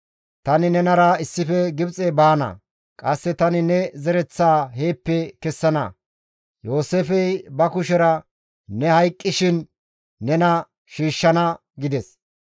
Tani nenara issife Gibxe baana; qasse tani ne zereththaa heeppe kessana. Yooseefey ba kushera ne hayqqishin nena shiishshana» gides.